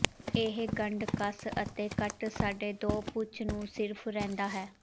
ਇਹ ਗੰਢ ਕਸ ਅਤੇ ਕੱਟ ਸਾਡੇ ਦੋ ਪੂਛ ਨੂੰ ਸਿਰਫ ਰਹਿੰਦਾ ਹੈ